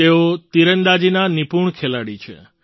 તેઓ તીરંદાજીના નિપુણ ખેલાડી છે